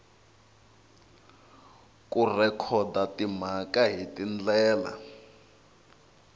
ku rhekhoda timhaka hi tindlela